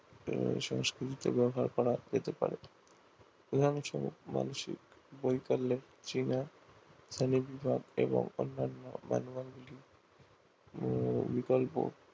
সংস্কৃতি তে ব্যাবহার করা হতে পারে মানসিক বৈকল্যে চেনা শ্রেণীবিভাগ এবং অন্যান্য manual গুলি বিকল্প